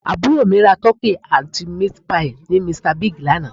Àbúrò mi ra Turkey àti Meat pie ní Mr Big lánàá